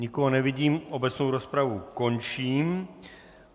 Nikoho nevidím, obecnou rozpravu končím.